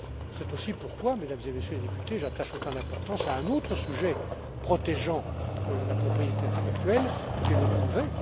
C'est aussi pourquoi, Mesdames et Messieurs les députés, j'attache autant d'importance à un autre sujet protégeant la propriété intellectuelle qui est le brevet.